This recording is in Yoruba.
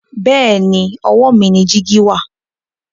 bẹẹni owó mí ní jìgì wà.